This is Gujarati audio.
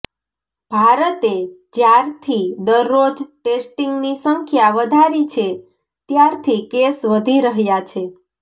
ભારતે જ્યારથી દરરોજ ટેસ્ટિંગની સંખ્યા વધારી છે ત્યારથી કેસ વધી રહ્યા છે